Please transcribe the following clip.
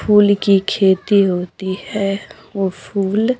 फूल की खेती होती है वो फूल--